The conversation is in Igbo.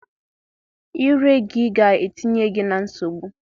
Ire gị ga-etinye gị na nsogbu.